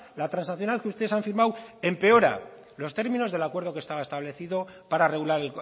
la transaccional que ustedes han firmado empeora los términos del acuerdo que estaba establecido para regular